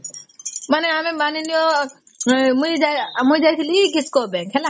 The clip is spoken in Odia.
ମାନେ ଆମେ ମାନିନେଆ ମୁଇ ଯାଇଥିଲି kisco bank ହେଲା